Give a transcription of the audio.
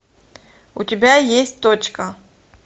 у тебя есть точка